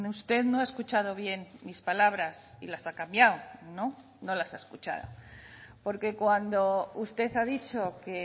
usted no ha escuchado bien mis palabras y las ha cambiado no no las ha escuchado porque cuando usted ha dicho que